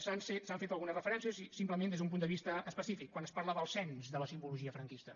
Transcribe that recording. s’han fet algunes referències i simplement des d’un punt de vista específic quan es parla del cens de la simbologia franquista